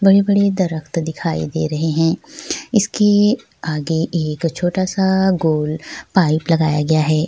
बड़े-बड़े दरख्त दिखाई दे रहे हैं इसके आगे एक छोटा-सा गोल पाइप लगाया गया है।